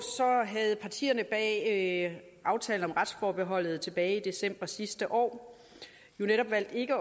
havde partierne bag aftalen om retsforbeholdet tilbage i december sidste år jo netop valgt ikke